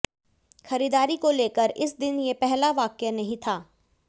खरीदारी को लेकर इस दिन ये पहला वाकया नहीं था